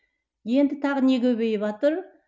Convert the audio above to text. енді тағы не көбейіватыр